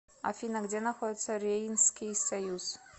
афина где находится рейнский союз